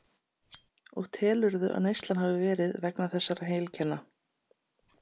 Og telurðu að neyslan hafi verið vegna þessara heilkenna?